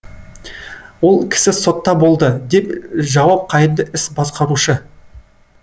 ол кісі сотта болды деп жауап қайырды іс басқарушы